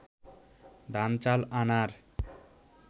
ধান-চাল আনার